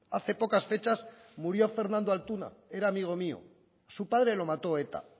hace pocas fechas murió fernando altuna era amigo mío a su padre lo mató eta